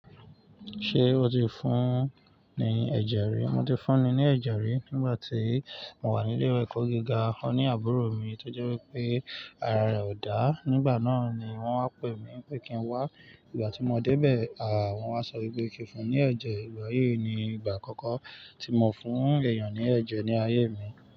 Ṣé o ti fún un ní ẹ̀jẹ̀ rí? Mo ti fún un ní ẹ̀jẹ̀ rí nígbà tí mo wà ní ilé ìwé ẹ̀kọ́ gíga. Òní àbúrò mi tó jẹ́ wípé ara rẹ̀ ò dá, nígbà náà ni wón wá pè mí pé kí n wá. Nígbà tí mo dé bẹ̀ à, wón wá sọ wípé kí n fún un ní ẹ̀jẹ̀. Ìgbà yìí ni ìgbà àkọ́kọ́ tí mo fún èèyàn ní ẹ̀jẹ̀ ní ayé mi.